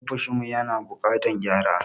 Ofishin mu ya na buƙatan gyara